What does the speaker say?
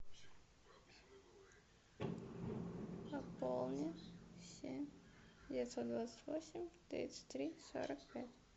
пополни семь девятьсот двадцать восемь тридцать три сорок пять